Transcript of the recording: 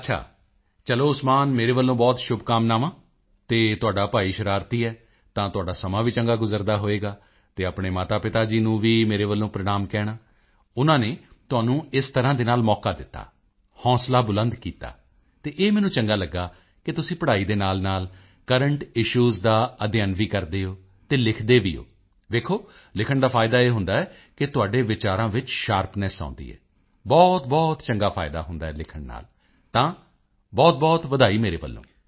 ਅੱਛਾ ਚਲੋ ਉਸਮਾਨ ਮੇਰੇ ਵੱਲੋਂ ਬਹੁਤ ਸ਼ੁਭਕਾਮਨਾਵਾਂ ਅਤੇ ਤੁਹਾਡਾ ਭਾਈ ਸ਼ਰਾਰਤੀ ਹੈ ਤਾਂ ਤੁਹਾਡਾ ਸਮਾਂ ਵੀ ਚੰਗਾ ਗੁਜ਼ਰਦਾ ਹੋਵੇਗਾ ਅਤੇ ਆਪਣੇ ਮਾਤਾਪਿਤਾ ਜੀ ਨੂੰ ਵੀ ਮੇਰੇ ਵੱਲੋਂ ਪ੍ਰਣਾਮ ਕਹਿਣਾ ਉਨ੍ਹਾਂ ਨੇ ਤੁਹਾਨੂੰ ਇਸ ਤਰ੍ਹਾਂ ਨਾਲ ਮੌਕਾ ਦਿੱਤਾ ਹੌਂਸਲਾ ਬੁਲੰਦ ਕੀਤਾ ਅਤੇ ਇਹ ਮੈਨੂੰ ਚੰਗਾ ਲੱਗਾ ਕਿ ਤੁਸੀਂ ਪੜ੍ਹਾਈ ਦੇ ਨਾਲਨਾਲ ਕਰੰਟ ਇਸ਼ੂਜ਼ ਦਾ ਅਧਿਐਨ ਵੀ ਕਰਦੇ ਹੋ ਅਤੇ ਲਿਖਦੇ ਵੀ ਹੋ ਵੇਖੋ ਲਿਖਣ ਦਾ ਫਾਇਦਾ ਇਹ ਹੁੰਦਾ ਹੈ ਕਿ ਤੁਹਾਡੇ ਵਿਚਾਰਾਂ ਵਿੱਚ ਸ਼ਾਰਪਨੈੱਸ ਆਉਦੀ ਹੈ ਬਹੁਤਬਹੁਤ ਚੰਗਾ ਫਾਇਦਾ ਹੁੰਦਾ ਹੈ ਲਿਖਣ ਨਾਲ ਤਾਂ ਬਹੁਤਬਹੁਤ ਵਧਾਈ ਮੇਰੇ ਵੱਲੋਂ